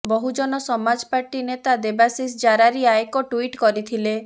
ବହୁଜନ ସମାଜ ପାର୍ଟି ନେତା ଦେବାଶିଷ ଜାରାରୀୟା ଏକ ଟ୍ୱିଟ୍ କରିଥିଲେ